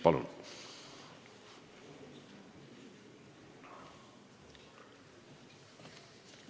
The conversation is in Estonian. Palun!